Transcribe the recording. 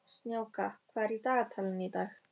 Snjáka, hvað er í dagatalinu í dag?